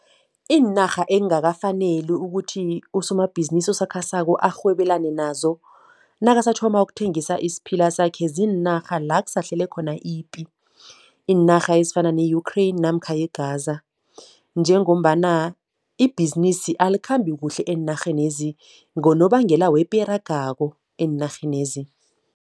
Iinarha ekungakafaneli ukuthi usomabhizimisi osakhasako arhwebelane nazo nakasathoma ukuthengisa isiphila sakhe ziinarha la kusahlele khona ipi. Iinarha ezifana ne-Ukraine namakha i-Gaza njengombana ibhizinisi alikhambi kuhle enarhenezi ngonobangela wepi eragako eenarhenezi.